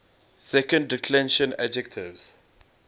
second declension adjectives